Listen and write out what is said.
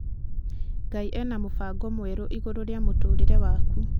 Ngai ena mũbango mwerũ igũrũ rĩa mũtũũrire waku.